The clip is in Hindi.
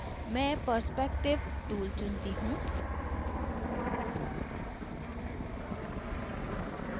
मैं perspective tool चुनती हूँ